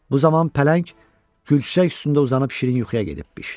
Bu zaman pələng gülçək üstündə uzanıb şirin yuxuya gedibmiş.